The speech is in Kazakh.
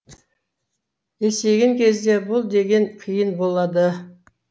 есейген кезде бұл деген қиын болады